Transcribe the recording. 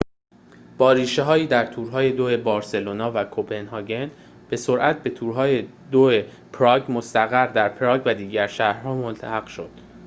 با ریشه‌هایی در تور‌های دوی بارسلونا و کپنهاگ به سرعت به تور‌های دوی پراگ مستقر در پراگ و دیگر شهر‌ها ملحق شد